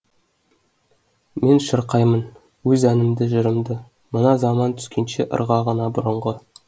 мен шырқаймын өз әнімді жырымдымына заман түскенше ырғағына бұрынғы